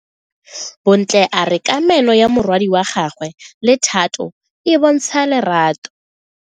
Bontle a re kamano ya morwadi wa gagwe le Thato e bontsha lerato.